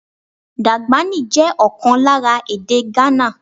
Dagbani jẹ́ ọ̀kan lára èdè Ghana.